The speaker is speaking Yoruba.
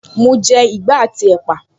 Mo jẹ ìgbá àti ẹ́pà